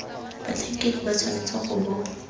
batlhankedi ba tshwanetse go bo